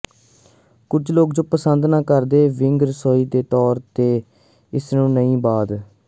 ਕੁਝ ਲੋਕ ਜੋ ਪਸੰਦ ਨਾ ਕਰਦੇ ਵਿਅੰਗ ਰਸੋਈ ਦੇ ਤੌਰ ਤੇ ਇਸ ਨੂੰ ਨਵੀ ਬਾਅਦ